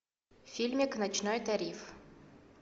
фильмик ночной тариф